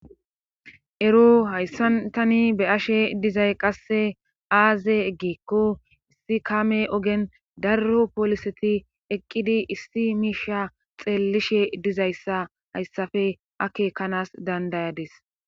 Ero hayssan tani be'ashe dizay qasse aaze eggikko issi kame ogen darro pooliseti eqqidi issi miisha xeellishe dizayssa hayssafe akekanas dandayadis.